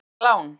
Dýr lán.